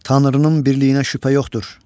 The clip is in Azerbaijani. Tanrının birliyinə şübhə yoxdur.